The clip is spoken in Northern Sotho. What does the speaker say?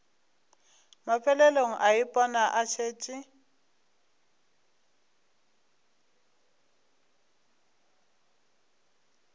mafelelong a ipona a šetše